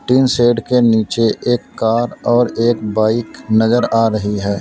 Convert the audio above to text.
Tin shed के नीचे एक कार और एक बाइक नजर आ रही है।